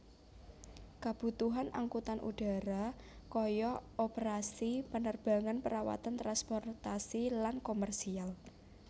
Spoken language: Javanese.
Kebutuhan angkutan udara kaya operasi penerbangan perawatan transportasi lan komersial